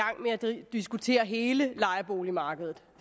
diskutere hele lejeboligmarkedet